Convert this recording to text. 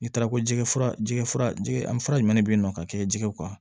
N'i taara ko jɛgɛ jɛgɛfura jɛgɛ an fura jumɛn de bɛ ye nɔ ka kɛ jɛgɛw kan